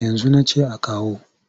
Yanzu na ce a kawo.